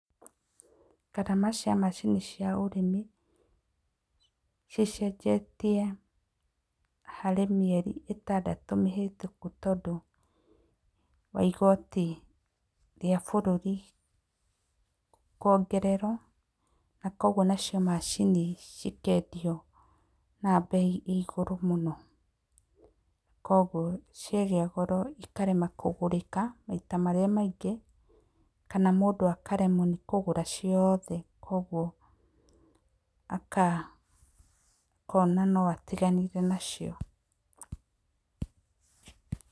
Ngarama cia macini cia ũrĩmi cicenjetie harĩ mĩeri ĩtandatũ mĩhetũku tondũ wa igoti rĩa bũrũri kwongererwo na kũguo nacio macini cikendio na mbei ya igũrũ mũno, kwoguo ciagĩa goro ikarema kũgũrĩka, maita marĩa maingĩ kana mũndũ akaremwo nĩ kũgũra ciothe kwoguo, akĩona no atiganire nacio.